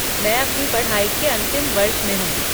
मैं अपनी पढ़ाई के अंतिम वर्ष में हूँ।